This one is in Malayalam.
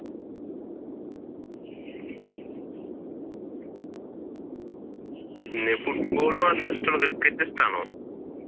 പിന്നെ ഫുടബോൾ മാത്രേ ഇഷ്ടമുള്ളൊ ക്രിക്കറ്റ് ഇഷ്ടമാണ്?